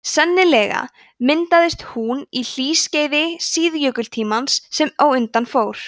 sennilega myndaðist hún á hlýskeiði síðjökultímans sem á undan fór